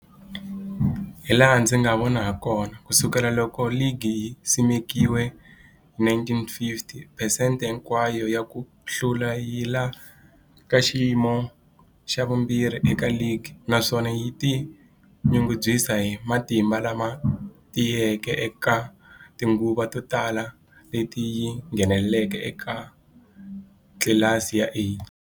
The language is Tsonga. Hilaha ndzi nga vona hakona, ku sukela loko ligi yi simekiwile, 1950, phesente hinkwayo ya ku hlula yi le ka xiyimo xa vumbirhi eka ligi, naswona yi tinyungubyisa hi matimba lama tiyeke eka tinguva to tala leti yi ngheneke eka tlilasi ya A.